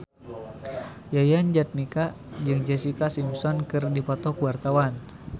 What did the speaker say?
Yayan Jatnika jeung Jessica Simpson keur dipoto ku wartawan